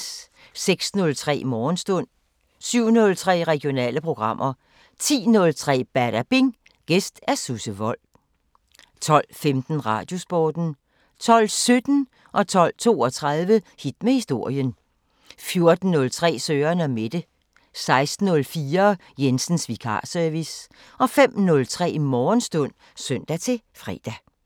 06:03: Morgenstund 07:03: Regionale programmer 10:03: Badabing: Gæst Susse Wold 12:15: Radiosporten 12:17: Hit med historien 12:32: Hit med historien 14:03: Søren & Mette 16:04: Jensens Vikarservice 05:03: Morgenstund (søn-fre)